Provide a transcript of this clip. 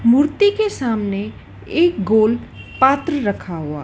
मूर्ति के सामने एक गोल पात्र रखा हुआ --